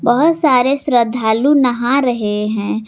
बहुत सारे श्रद्धालु नहा रहे हैं।